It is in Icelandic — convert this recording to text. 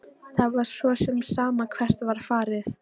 Það var svo sem sama hvert var farið.